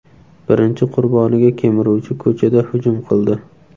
Birinchi qurboniga kemiruvchi ko‘chada hujum qildi.